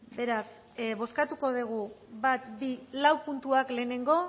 beraz bozkatuko dugu bat bi lau puntuak lehenengo